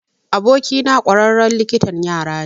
Abokina ƙwararren likitan yara ne.